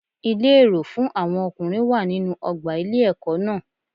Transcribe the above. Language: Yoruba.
Ilé èrò fún àwọn ọkùnrin wà nínú ọgbà ilé ẹkọ náà.